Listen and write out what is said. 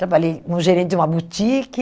Trabalhei como gerente de uma boutique.